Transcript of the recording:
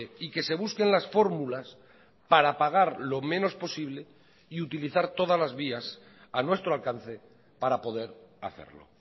y que se busquen las fórmulas para pagar lo menos posible y utilizar todas las vías a nuestro alcance para poder hacerlo